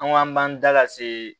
An ko an b'an da lase